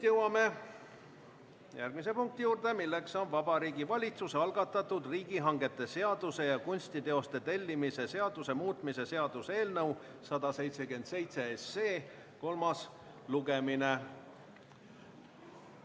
Jõuame järgmise punkti juurde, Vabariigi Valitsuse algatatud riigihangete seaduse ja kunstiteoste tellimise seaduse muutmise seaduse eelnõu 177 kolmas lugemine.